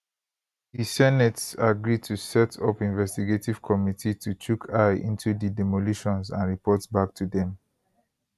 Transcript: di senate agree to set up investigative committee to chook eye into di demolitions and report back to dem